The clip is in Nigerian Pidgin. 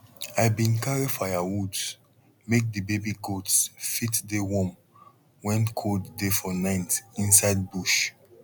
i bin carry firewoods make the baby goats fit dey warm when cold dey for night inside bush